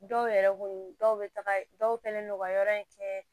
Dɔw yɛrɛ kun dɔw bɛ taga dɔw fɛnɛ nɔgɔya in kɛ